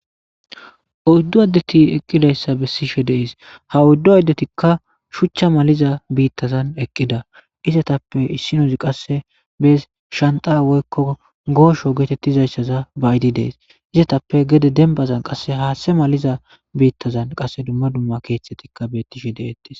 Oyddu addethi eqqidayssa bessishe de7ees; ha oyddu addethikka shuchcha maliza biiththazan eqqiza; izathappe issinozi qassi shanxxaa woykko goosho geetheththizayssaza ba7idi de7ees; izathappe gede dembbazan qassi haaththe maliza biiththazan qassi dumma dumma keeththathikka beeththishe de7eeththes.